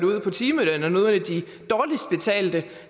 ud fra timelønnen er nogle af de dårligst betalte